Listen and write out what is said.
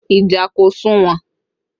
Ìjà kò sunwon